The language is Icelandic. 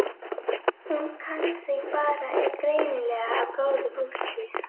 Hún kann sig bara er greinilega af góðu fólki.